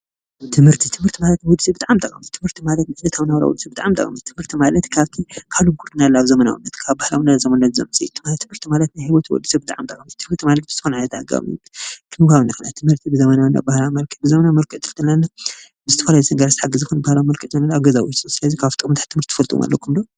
ትምህርቲ፡- ትምህርቲ ማለት ንወዲሰብ ብጣዕሚ ጠቃሚ እዩ፡፡ ትምህርቲ ማለት ንውፂኢታዊ ናብራና ብጣዕሚ ጠቃሚ እዩ፡፡ ትምህርቲ ማለት ካብ ሉክድና ናብ ዘመናዊ፣ ካብ ባህላዊ ናብ ዘመናዊ ለውጢ ዘምፅእ እዩ፡፡ ትምህርቲ ማለት ንሂወት ወዲሰብ ብጣዕሚ ጠቃሚ እዩ፡፡ ትምህርቲ ማለት ብዝኮነ ዓይነት አገባብ ክንወሃብ ንክእል ኢና፡፡ ትምህርቲ ብዘበናዊና ባህላዊ መልክዕ ፣ ብዘበናዊ መልክዕ ትምህርቲ ማለት ንአብነት ብዝተፈላለዩ ሓገዝ ዝተሓገዘ፣ ብባህላዊ መልክዕ ማለት አብ ገዛ ውሽጢ ፣ ስለዚ ካብቶም ጥሙር ትምህርቲ ትፈልጥዎም አለኩም ዶ?